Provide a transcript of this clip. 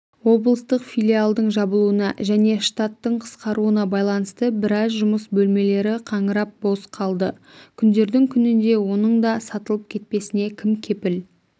облыстық филиалдың жабылуына және штаттың қысқаруына байланысты біраз жұмыс бөлмелері қаңырап бос қалды күндердің күнінде оның да сатылып кетпесіне кім кепіл